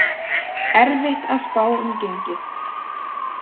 Erfitt að spá um gengið